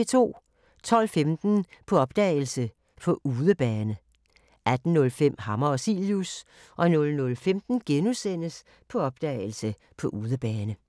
12:15: På opdagelse – På udebane 18:05: Hammer og Cilius 00:15: På opdagelse – På udebane *